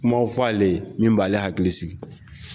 Kuma f'ale ye min b'ale hakili sigi.